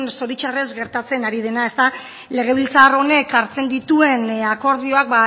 zoritxarrez gertatzen ari dena ezta legebiltzar honek hartzen dituen akordioak